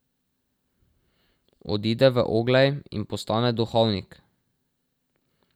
Odide v Oglej in postane duhovnik.